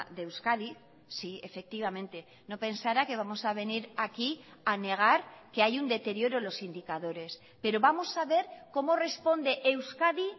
de euskadi sí efectivamente no pensará que vamos a venir aquí a negar que hay un deterioro los indicadores pero vamos a ver cómo responde euskadi